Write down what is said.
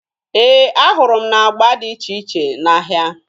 Ee, ahụrụ m agba dị iche iche n'ahịa.